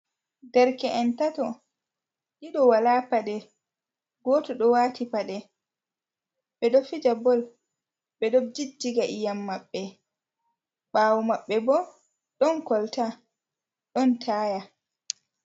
Derke’en tato, ɗiɗo wala paɗe, goto ɗo wati paɗe ɓe ɗo fija bol ɓe ɗo jijjiga iyam maɓɓe ɓaawo maɓɓe ɓo ɗon kolta ɗon taya.